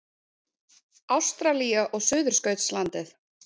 Ástralía og Suðurskautslandið.